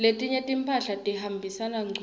letinye timphahla tihambisana ngcunu